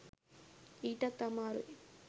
ඊටත් අමාරුයි.